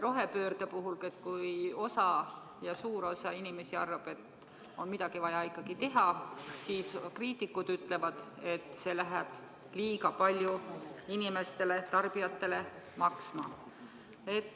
Rohepöörde puhul suur osa inimesi arvab, et midagi on vaja ikkagi teha, seevastu kriitikud ütlevad, et see läheb tarbijatele liiga palju maksma.